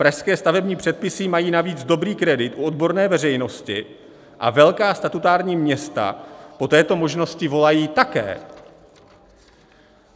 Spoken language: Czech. Pražské stavební předpisy mají navíc dobrý kredit u odborné veřejnosti a velká statutární města po této možnosti volají také.